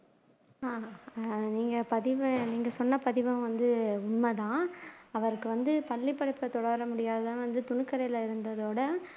அஹ் நீங்க பதிவை நீங்க சொன்ன பதிவு வந்து உண்மைதான் அவருக்கு வந்து பள்ளிப்படிப்பை தொடரமுடியாததுதான் துணிக்கடையில இருந்ததோட